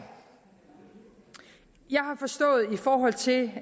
i forhold til